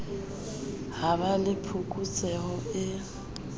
ha ba le phokotseho e